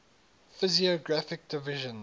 physiographic divisions